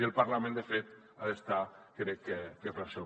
i el parlament de fet ha d’estar crec que per a això